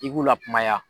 I k'u lakumaya